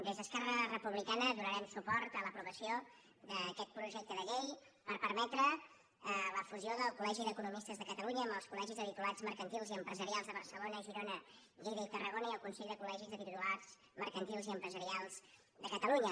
des d’esquerra republicana donarem suport a l’aprovació d’aquest projecte de llei per permetre la fusió del colnomistes de catalunya amb els col·legis de titulats mercantils i empresarials de barcelona girona lleida i tarragona i el consell de col·legis de titulars mercantils i empresarials de catalunya